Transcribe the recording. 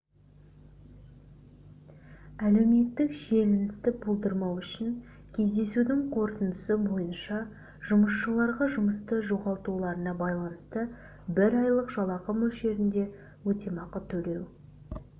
әлеуметтік шиеленісті болдырмау үшін кездесудің қорытындысы бойынша жұмысшыларға жұмысты жоғалтуларына байланысты бір айлық жалақы мөлшерінде өтемақы төлеу